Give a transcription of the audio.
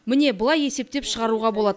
міне былай есептеп шығаруға болады